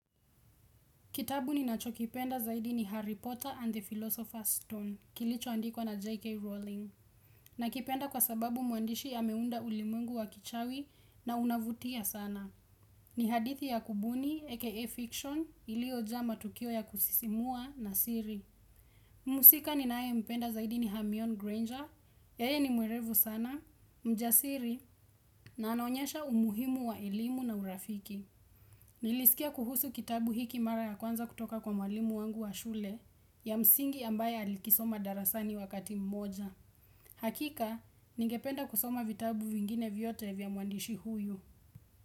Kitabu ni nacho kipenda zaidi ni Harry Potter and the Philosopher's Stone, kilicho andikwa na J.K. Rowling. Na kipenda kwa sababu muandishi ameunda ulimwengu wa kichawi na unavutia sana. Ni hadithi ya kubuni, aka Fiction, iliojaa matukio ya kusisimua na siri. Mhusika ninaye mpenda zaidi ni Hamion Granger, yeye ni mwelevu sana, mjasiri, na anaonyesha umuhimu wa elimu na urafiki. Nilisikia kuhusu kitabu hiki mara ya kwanza kutoka kwa mwalimu wangu wa shule ya msingi ambaye alikisoma darasani wakati mmoja. Hakika, ningependa kusoma vitabu vingine vyote vya muandishi huyu.